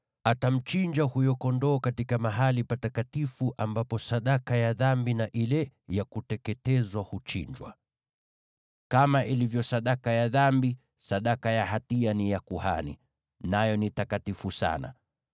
Atamchinja huyo kondoo katika mahali patakatifu ambapo sadaka ya dhambi na ile ya kuteketezwa huchinjiwa. Kama ilivyo sadaka ya dhambi, sadaka ya hatia ni ya kuhani; nayo ni takatifu sana.